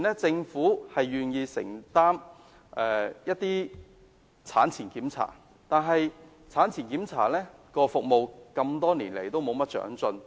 政府目前有承擔一些產前檢查，但服務多年來也沒有長進。